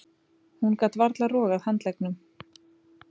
Hún gat varla rogað handleggnum.